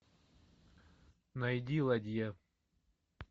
найди ладья